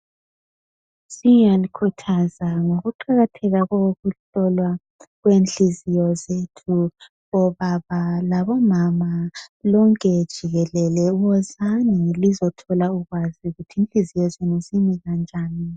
Siyakhuthazana ngokuqakatheka kokuhlolwa kwenhliziyo zethu. Obaba labomama lonke jikelele wozani lizothola ulwazi ukuthi inhliziyo zenu zimi kanjani.